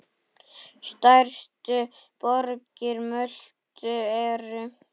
Stærstu borgir Möltu eru